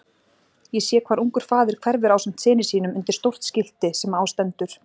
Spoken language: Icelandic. Ég sé hvar ungur faðir hverfur ásamt syni sínum undir stórt skilti sem á stendur